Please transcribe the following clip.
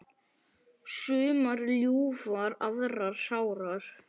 Sumar ljúfar aðrar sárar.